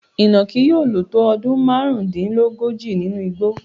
Ìnàkí yóò lò tó ọdún márùndínlógójì nínú igbó.